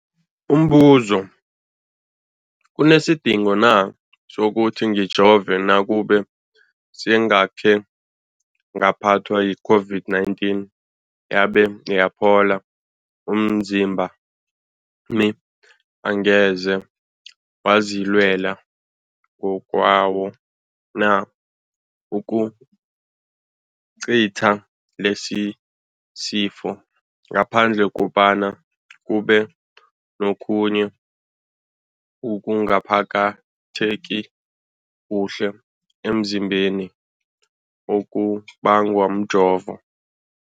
Umbuzo, kunesidingo na sokuthi ngijove nakube sengakhe ngaphathwa yi-COVID-19 yabe yaphola? Umzimbami angeze wazilwela ngokwawo na ukucitha lesisifo, ngaphandle kobana kube nokhunye ukungaphatheki kuhle emzimbeni okubangwa mjovo?